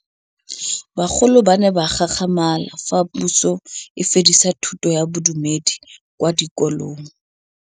Bagolo ba ne ba gakgamala fa Pusô e fedisa thutô ya Bodumedi kwa dikolong.